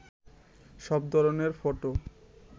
সব ধরনের ফটো